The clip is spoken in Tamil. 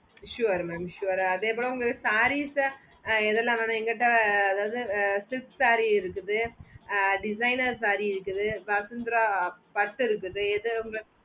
sure mam sure ஆஹ் அதே மாதிரி sarees ஆஹ் எதுல வேணும் என்கிட்டே அதாவது silk saree இருக்குது ஆஹ் designer saree இருக்குது vasunthra பட்டு இருக்குது எது உங்களுக்கு